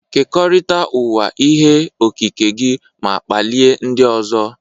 Kekọrịta ụwa ihe okike gị ma kpalie ndị ọzọ.